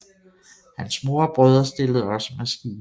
Hans mor og brødre stillede også med skibe